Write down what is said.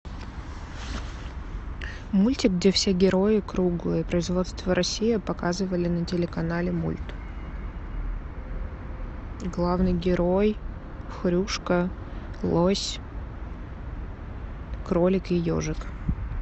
мультик где все герои круглые производство россия показывали на телеканале мульт главный герой хрюшка лось кролик и ежик